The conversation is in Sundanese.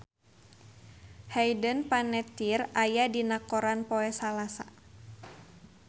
Hayden Panettiere aya dina koran poe Salasa